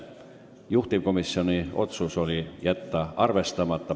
Juhtivkomisjoni otsus oli jätta see ettepanek arvestamata.